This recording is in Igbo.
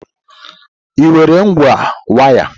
Ị nwere ngwa waya?